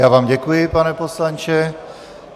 Já vám děkuji, pane poslanče.